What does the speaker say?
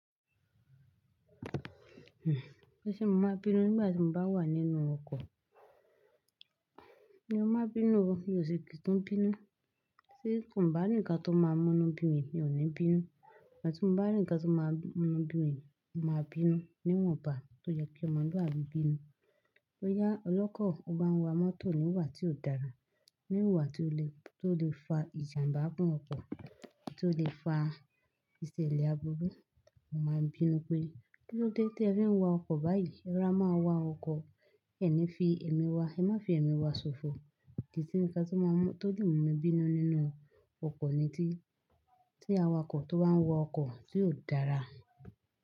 Bíṣẹ́ mo máa bínú nígbà tí mo bá wà nínú ọkọ̀. Mò má bínú, mi ò sì kí n bínú. Tí n ko bá rí ǹkan tó máa múnú bí mi, mi ò ní bínú. Ìgbà tí mo bá rí ǹkan tó máa múnú bí mi, mo máa bínú níwọ̀nba tó yẹ kí ọmọlúàbí bínú. Bóyá ọlọ́kọ̀ ọ bá ń wa mọ́tò ní ìwà tí ò dára, ní ìwà tó lè fa ìjàmbá fún ọkọ̀, tó lè fa ìṣẹ̀lẹ̀ abúrú, mo máa bínú pé kílóde tí ẹ fi ń wa ọkọ̀ báyìí? Ẹrọ́ra má wa ọkọ̀, ẹ ní fi ẹ̀mí wa, ẹ má fi ẹ̀mí wa ṣòfò. Kìí sí ǹkan tó lè mú mi bínú nínú ọkọ̀ ni tí awakọ̀ tó bá ń wa ọkọ̀ tí ò dára.